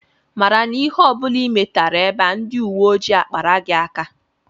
Mara na ihe ọ bụla ị metara ebe a, ndị uwe ojii akpara gị aka!